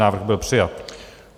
Návrh byl přijat.